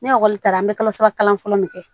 Ne ekɔli taara an bɛ kalo saba kalan fɔlɔ min kɛ